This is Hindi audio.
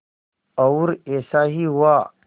और ऐसा ही हुआ